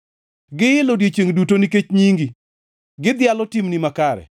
Giil odiechiengʼ duto nikech nyingi; gidhialo timni makare.